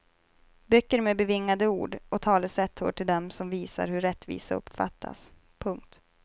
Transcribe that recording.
Böcker med bevingade ord och talesätt hör till dem som visar hur rättvisa uppfattas. punkt